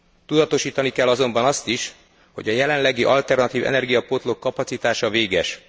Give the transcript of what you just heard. Tudatosítani kell azonban azt is, hogy a jelenlegi alternatív energiapótlók kapacitása véges.